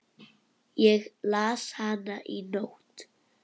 Ég las hana í nótt.